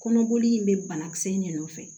Kɔnɔboli in bɛ banakisɛ in de nɔfɛ